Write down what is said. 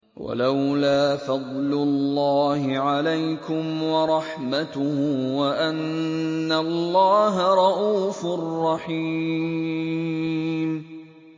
وَلَوْلَا فَضْلُ اللَّهِ عَلَيْكُمْ وَرَحْمَتُهُ وَأَنَّ اللَّهَ رَءُوفٌ رَّحِيمٌ